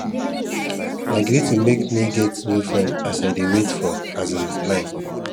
na greeting make me get new friend as i dey wait for um line